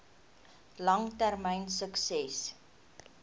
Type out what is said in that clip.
lang termyn sukses